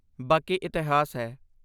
ਬਾਕੀ ਇਤਿਹਾਸ ਹੈ!